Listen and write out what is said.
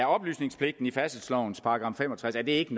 oplysningspligten i færdselslovens § fem og tres ikke